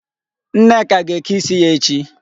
Nneka ga-eke isi ya echi.